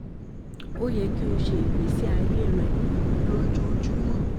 O yẹ ki o ṣiṣẹ ni igbesi aye rẹ ojoojumọ